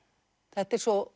þetta er svo